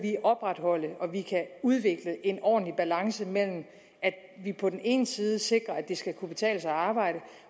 opretholde og udvikle en ordentlig balance mellem at vi på den ene side sikrer at det skal kunne betale sig at arbejde